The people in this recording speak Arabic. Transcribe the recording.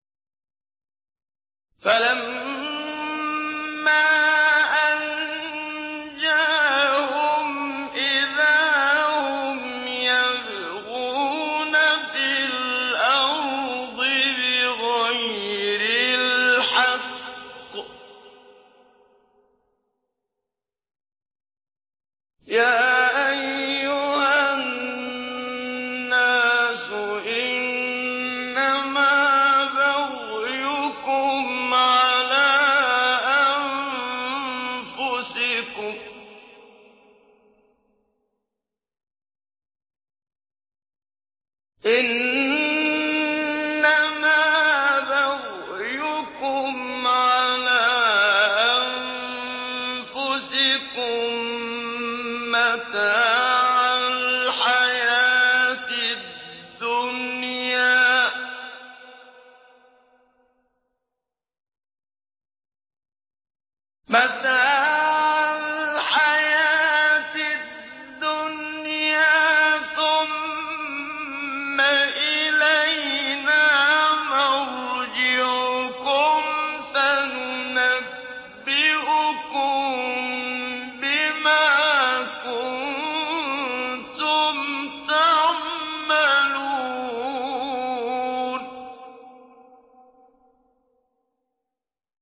فَلَمَّا أَنجَاهُمْ إِذَا هُمْ يَبْغُونَ فِي الْأَرْضِ بِغَيْرِ الْحَقِّ ۗ يَا أَيُّهَا النَّاسُ إِنَّمَا بَغْيُكُمْ عَلَىٰ أَنفُسِكُم ۖ مَّتَاعَ الْحَيَاةِ الدُّنْيَا ۖ ثُمَّ إِلَيْنَا مَرْجِعُكُمْ فَنُنَبِّئُكُم بِمَا كُنتُمْ تَعْمَلُونَ